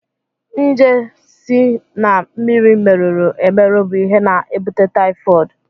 Njé si na mmiri merụrụ emerụ bụ ihe na-ebute taịfọd.